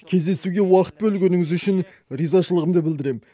кездесуге уақыт бөлгеніңіз үшін ризашылығымды білдірем